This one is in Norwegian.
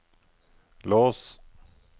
lås